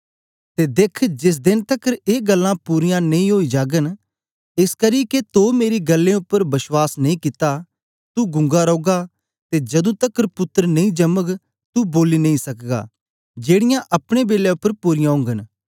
ते देख्ख जेस देन तकर ए गल्लां पूरीयां नेई ओई जाग एसकरी के तो मेरी गल्लें उपर बश्वास नेई कित्ता तू गूंगा रौगा ते जदूं तकर पुत्तर नी जमग तू बोली नेई सकगा जेड़ीयां अपने बेलै उपर पूरीयां ओगन